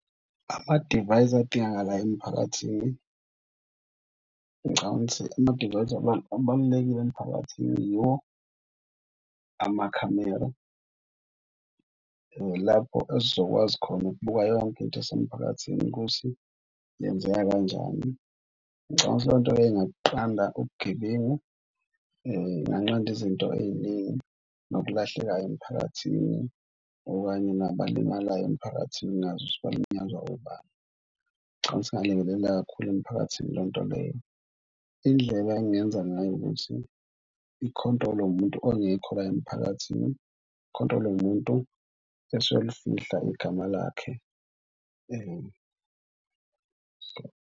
Amadivayisi adingakalayo emphakathini ngicabanga ukuthi amadivayisi abalulekile emiphakathini yiwo amakhamera lapho esizokwazi khona ukubuka yonke into esemphakathini ukuthi yenzeka kanjani. Ngicabanga ukuthi leyo nto leyo inganqanda ubugebengu inganqanda izinto ey'ningi nokulahlekayo emiphakathini okanye nabalimalayo emiphakathini singazi balinyazwa obani. Ngicabanga ukuthi ingalekelela kakhulu emphakathini leyo nto leyo. Indlela engingenza ngayo ukuthi ikhontrolwe umuntu ongekho la emphakathini ikhontrolwe umuntu esolifihla igama lakhe .